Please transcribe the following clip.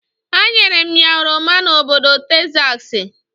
A nyere m ya oroma na obodo Tekzaksi.